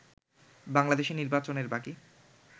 বাংলাদেশে নির্বাচনের বাকী